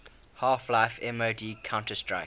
half life mod counter strike